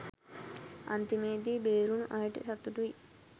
අන්තිමේදී බේරුනු අයට සතුටුයි